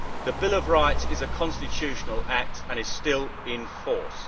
The Bill of Rights is a constitutional act and is still in force.